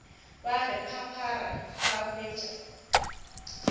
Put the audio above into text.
ba re phaphara ba hwetša